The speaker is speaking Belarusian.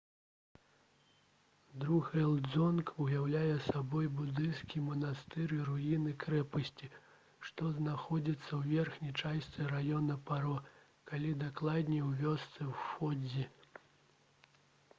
друг'ел дзонг уяўляе сабой будысцкі манастыр і руіны крэпасці што знаходзяцца ў верхняй частцы раёна паро калі дакладней у вёсцы фондзі